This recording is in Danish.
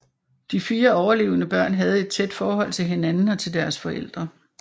De fire overlevende børn havde et tæt forhold til hinanden og til deres forældre